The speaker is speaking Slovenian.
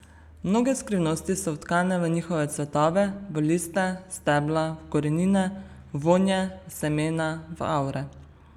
Mnoge skrivnosti so vtkane v njihove cvetove, v liste, stebla, v korenine, v vonje, v semena, v avre.